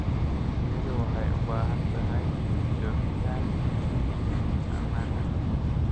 Shinnidu waxay u baahan tahay joogitaan ammaan ah.